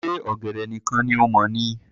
Ṣe ọ̀gẹ̀dẹ̀ nìkan ni o mọ̀ ni?